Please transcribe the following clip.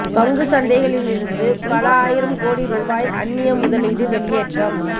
பங்குச் சந்தைகளிலிருந்து பல ஆயிரம் கோடி ரூபாய் அந்நிய முதலீடு வெளியேற்றம்